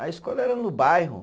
A escola era no bairro.